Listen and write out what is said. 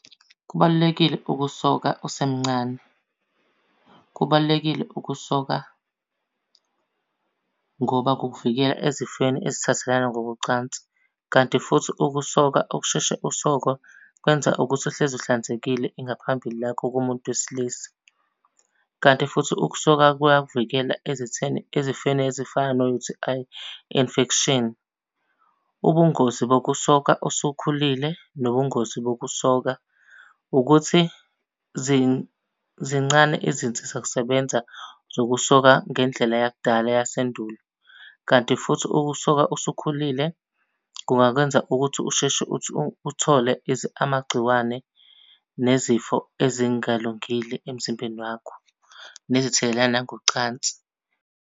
Kubalulekile ukusoka usemncane. Kubalulekile ukusoka ngoba kukuvikela ezifeni ezithathelana ngokocansi. Kanti futhi ukusoka ukusheshe usoke kwenza ukuthi uhlezi uhlanzekile ingaphambili lakho kumuntu wesilisa. Kanti futhi ukusoka kuyakuvikela ezitheni ezifeni ezifana no-U_T_I infection. Ubungozi bokusoka usukhulile nobungozi bokusoka ukuthi zincane izinsizakusebenza zokusoka ngendlela yakudala yasendulo. Kanti futhi ukusoka usukhulile kungakwenza ukuthi usheshe uthole amagciwane nezifo ezingalungile emzimbeni wakho, nezithelelana ngocansi.